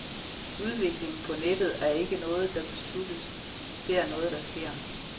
Udviklingen på nettet er ikke noget, der besluttes, det er noget, der sker.